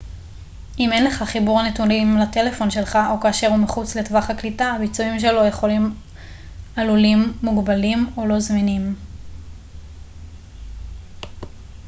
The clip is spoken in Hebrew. אם אין לך חיבור נתונים לטלפון שלך או כאשר הוא מחוץ לטווח הקליטה הביצועים שלו יכולים עלולים מוגבלים או לא זמינים